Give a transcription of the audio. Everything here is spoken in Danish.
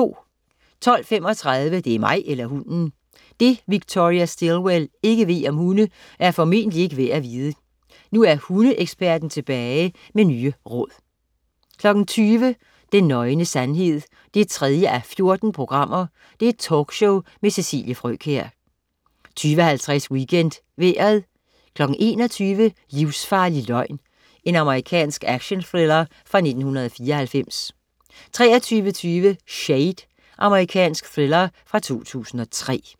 12.35 Det er mig eller hunden! Det, Victoria Stilwell ikke ved om hunde, er formentlig ikke værd at vide. Nu er hundeeksperten tilbage med nye råd 20.00 Den nøgne sandhed 3:14. Talkshow med Cecilie Frøkjær 20.50 WeekendVejret 21.00 Livsfarlig løgn. Amerikansk actionthriller fra 1994 23.20 Shade. Amerikansk thriller fra 2003